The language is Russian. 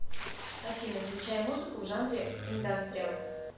афина включай музыку в жанре индастриал